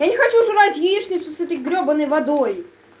я не хочу жрать яичницу с этой гребаной водой